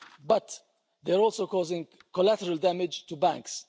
But, they're also causing collateral damage to banks.